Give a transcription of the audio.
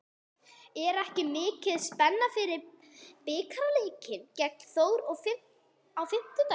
Er ekki mikil spenna fyrir bikarleikinn gegn Þór á fimmtudag?